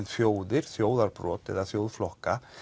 þjóðir þjóðarbrot eða þjóðflokka